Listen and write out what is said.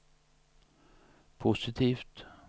positivt